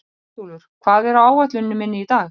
Kveldúlfur, hvað er á áætluninni minni í dag?